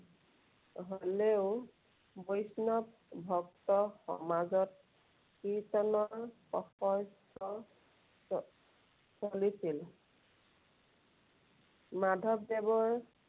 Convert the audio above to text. হ'লেও বৈষ্ণৱ ভক্ত সমাজত কীৰ্ত্তনৰ চ~ চলিছিল। মাধৱদেৱৰ